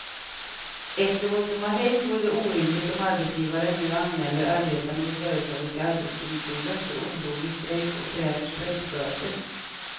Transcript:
Efter vad som har hänt vore det orimligt om arbetsgivaren nu anmäler arbetarna vid företaget till arbetsdomstolen för olovlig strejk och kräver strejkböter.